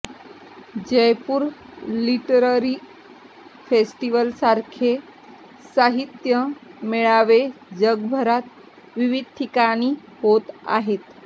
Jaipur literary फेस्टिवलसारखे साहित्य मेळावे जगभरात विविध ठिकाणी होत आहेत